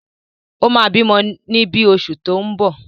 O máa bímọ ní bí oṣù tí ó ń bọ̀.